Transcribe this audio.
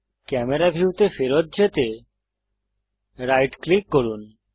camera ভিউতে ফেরত যেতে রাইট ক্লিক করুন